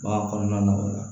Bagan kɔnɔna na o la